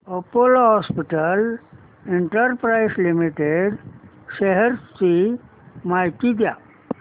Apollo Hospitals Enterprise Limited shares ची माहिती द्या